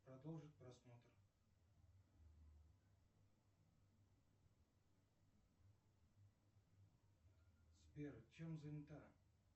продолжить просмотр сбер чем занята